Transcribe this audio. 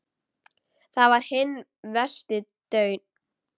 Þar var hinn versti daunn.